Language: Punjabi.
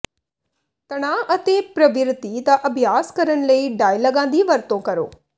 ਤਣਾਅ ਅਤੇ ਪ੍ਰਵਿਰਤੀ ਦਾ ਅਭਿਆਸ ਕਰਨ ਲਈ ਡਾਇਲਾਗਾਂ ਦੀ ਵਰਤੋਂ ਕਰੋ